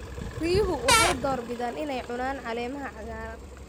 Riyuhu waxay door bidaan inay cunaan caleemaha cagaaran.